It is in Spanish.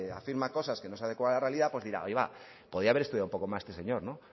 afirma cosas que no se adecua a la realidad pues dirá podría haber estudiado más este señor no